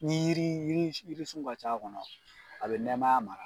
Ni yiri jiri sun ka ca a kɔnɔ a bɛ nɛmaya mara.